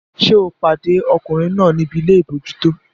Ṣé o pàdé ọkùnrin náà níbi ilé àbójútó?